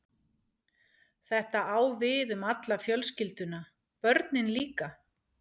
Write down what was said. Þetta á við um alla fjölskylduna- börnin líka.